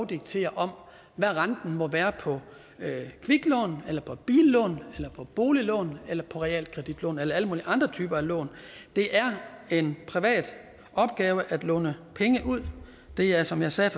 diktere hvad renten må være på kviklån billån boliglån på realkreditlån eller alle mulige andre typer lån det er en privat opgave at låne penge ud det er som jeg sagde